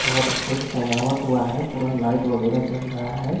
बहोत अच्छे से सजावट हुआ है पूरा लाइट वगैरा जल रहा है।